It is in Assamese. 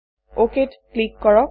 অক ত ক্লিক কৰক